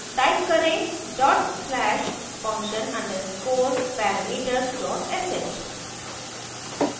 type करें dot slash function underscore parameters dot sh